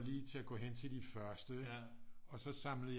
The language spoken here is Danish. Lige til at gå hen til de første ikke og så samlede jeg